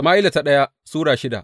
daya Sama’ila Sura shida